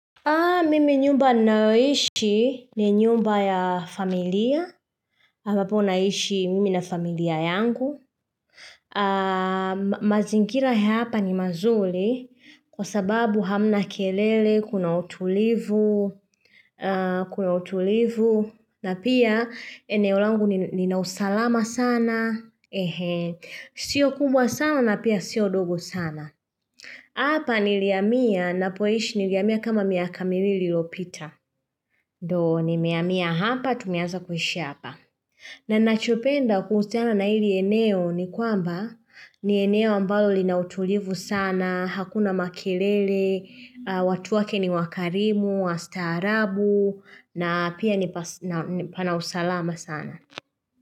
Mimi nyumba ninayoishi ni nyumba ya familia, ambapo naishi mimi na familia yangu. Mazingira ya hapa ni mazuri kwa sababu hamna kelele, kuna utulivu, kuna utulivu, na pia eneo langu nina ninausalama sana. Sio kubwa sana na pia sio dogo sana. Hapa nilihamia ninapoishi nilihamia kama miaka miwili iliyopita. Ndio nimehamia hapa, tumeanza kuishi hapa. Na ninachopenda kuhusiana na hili eneo ni kwamba ni eneo ambalo linautulivu sana, hakuna makelele, watu wake ni wakarimu, wastaarabu, na pia ni pas na ni pana usalama sana.